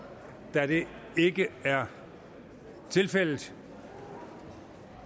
da det ikke er tilfældet